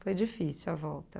Foi difícil a volta.